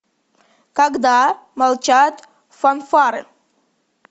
когда молчат фанфары